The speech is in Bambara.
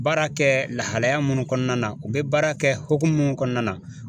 Baara kɛ lahalaya munnu kɔnɔna na u be baara kɛ hokumu mun kɔnɔna na